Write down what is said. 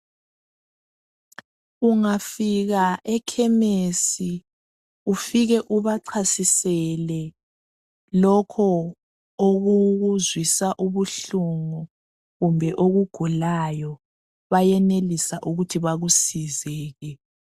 Ungafika ekemesi ufike ubachasisele lokho okukuzwisa ubuhlungu kumbe okugulayo bayenelisa ukuthi bekusizeke.